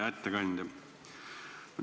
Hea ettekandja!